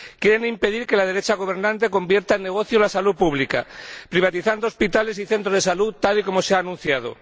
Quieren impedir que la derecha gobernante convierta en negocio la salud pública, privatizando hospitales y centros de salud, tal y como se ha anunciado.